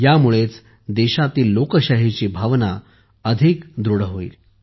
यामुळे देशातील लोकशाहीची भावना अधिक दृढ होईल